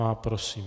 Má. Prosím.